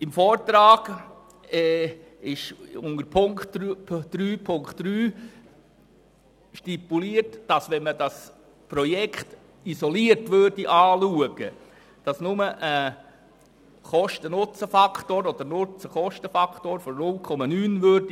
Im Vortrag wird unter Punkt 3.3 stipuliert, dass, betrachtete man das Projekt isoliert, nur ein Kosten-Nutzen-Faktor von 0,9 resultieren würde.